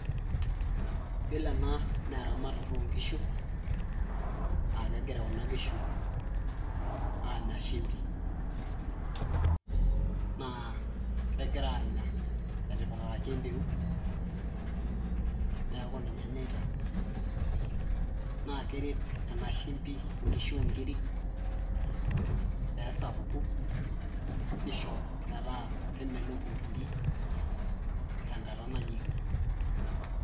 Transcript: yiolo ena naa eramatata onkishu akegira kuna kishu anya shimbi naa kegira anya etipikaki empeut neeku ninye enyaita naa keret ena shimbi inkishu onkiri peesapuku nisho metaa kemelok inkiri tenkata nayieng'i.